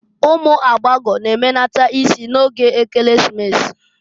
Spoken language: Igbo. Umu agbagọ g'emenata isi n'oge Ekeresimesi.